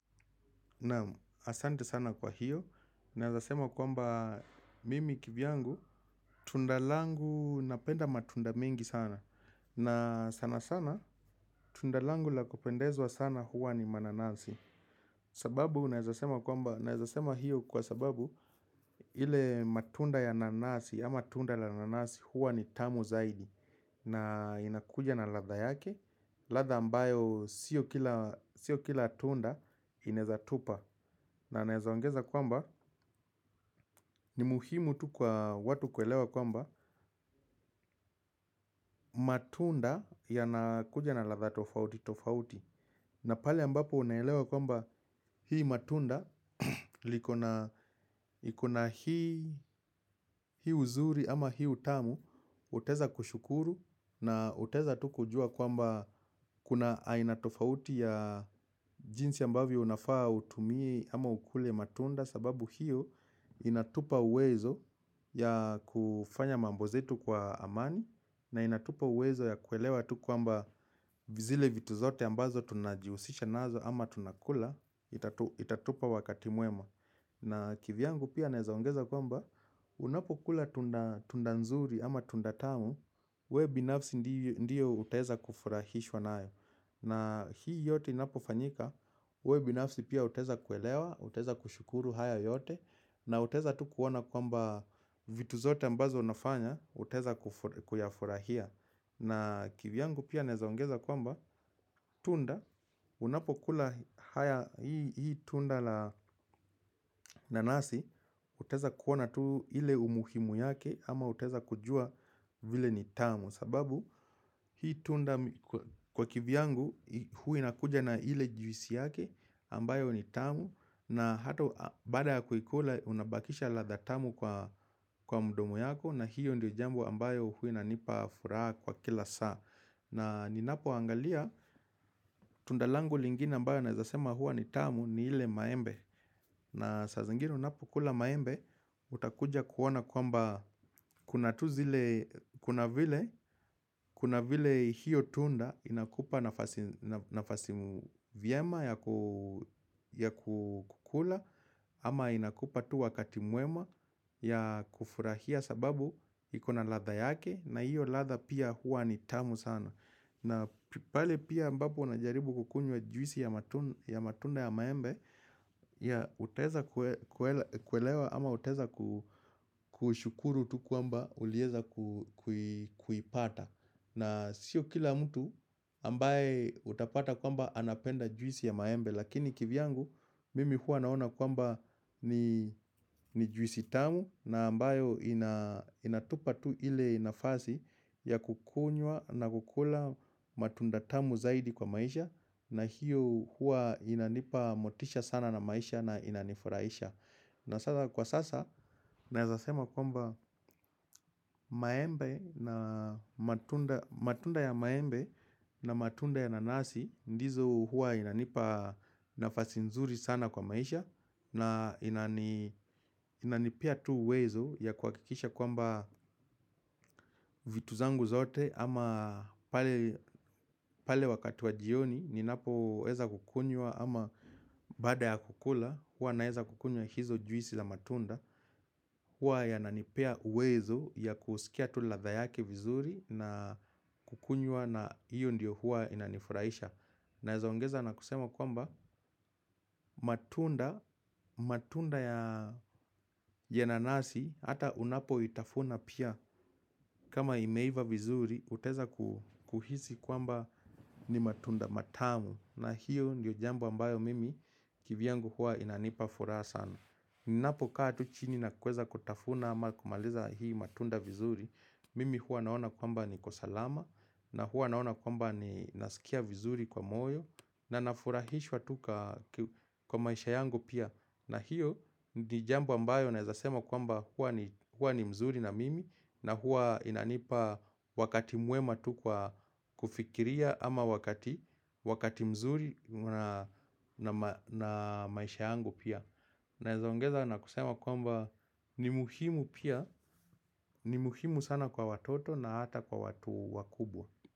Naam asante sana kwa hiyo, naezasema kwamba mimi kivyangu, tunda langu napenda matunda mingi sana. Na sana sana, tunda langu la kupendezwa sana huwa ni mananasi. Sababu naezasema kwamba, naezasema hiyo kwa sababu ile matunda ya nanasi, ama tunda la nanasi huwa ni tamu zaidi. Na inakuja na ladha yake, ladha ambayo sio kila tunda inaezatupa. Na naeza ongeza kwamba ni muhimu tu kwa watu kuelewa kwamba matunda yanakuja na ladha tofauti tofauti. Na pale ambapo unaelewa kwamba hii matunda liko na iko na hii uzuri ama hii utamu utaeza kushukuru na utaeza tu kujua kwamba kuna aina tofauti ya jinsi ambavyo unafaa utumie ama ukule matunda sababu hiyo inatupa uwezo ya kufanya mambo zetu kwa amani na inatupa uwezo ya kuelewa tu kwamba zile vitu zote ambazo tunajiusisha nazo ama tunakula itatupa wakati muema na kivyangu pia naeza ongeza kwamba unapo kula tunda nzuri ama tunda tamu we binafsi ndiyo utaeza kufurahishwa nayo. Na hii yote inapofanyika, we binafsi pia utaeza kuelewa, utaeza kushukuru haya yote. Na utaeza tu kuona kwamba vitu zote ambazo unafanya, utaeza kuyafurahia. Na kivyangu pia naeza ongeza kwamba tunda, unapo kula haya hii tunda la nanasi. Utaeza kuona tuu ile umuhimu yake ama utaeza kujua vile ni tamu sababu hii tunda kwa kivyangu huwa inakuja na ile juisi yake ambayo ni tamu na hato baada ya kuikula unabakisha ladha tamu kwa mdomo yako na hiyo ndio jambo ambayo huwa inanipa furaha kwa kila saa na ninapo angalia tunda langu lingine ambayo naezasema huwa ni tamu ni ile maembe na saa zingine unapo kula maembe utakuja kuona kwamba kuna tu zile kuna vile. Kuna vile hiyo tunda inakupa nafasi mu vyema ya kukula ama inakupa tu wakati muema ya kufurahia sababu iko na ladha yake na hiyo ladha pia huwa ni tamu sana. Na pale pia ambapo unajaribu kukunywa juisi ya matunda ya maembe ya utaeza kuelewa ama utaeza kushukuru tu kwamba ulieza kuipata. Na sio kila mtu ambaye utapata kwamba anapenda juisi ya maembe. Lakini kivyangu mimi huwa naona kwamba ni juisi tamu na ambayo inatupa tu ile nafasi ya kukunywa na kukula matunda tamu zaidi kwa maisha na hiyo huwa inanipa motisha sana na maisha na inanifuraisha. Na sasa kwa sasa, naezasema kwamba maembe na matunda ya maembe na matunda ya nanasi, ndizo huwa inanipa nafasi nzuri sana kwa maisha, na inanipea tu uwezo ya kuhakikisha kwamba vitu zangu zote ama pale wakati wa jioni, ninapo weza kukunywa ama baada ya kukula, huwa naeza kukunywa hizo juisi za matunda. Huwa yananipea uwezo ya kusikia tu ladha yake vizuri na kukunywa na hiyo ndiyo huwa inanifuraisha. Naeza ongeza na kusema kwamba matunda, matunda ya nanasi, ata unapo itafuna pia kama imeiva vizuri, utaeza kuhisi kwamba ni matunda matamu. Na hiyo ndiyo jambo ambayo mimi kivyangu huwa inanipa furaha sana. Ninapokatu chini na kueza kutafuna ama kumaliza hii matunda vizuri. Mimi huwa naona kwamba niko salama. Na huwa naona kwamba ninasikia vizuri kwa moyo. Na nafurahishwa tu ka kwa maisha yangu pia. Na hiyo ni jambo ambayo naezasema kwamba huwa ni mzuri na mimi. Na huwa inanipa wakati muema tu ka kufikiria ama wakati mzuri na maisha yangu pia. Naeza ongeza na kusema kwamba ni muhimu pia. Ni muhimu sana kwa watoto na hata kwa watu wakubwa.